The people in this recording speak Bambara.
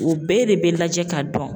O bɛɛ de bɛ lajɛ ka dɔn.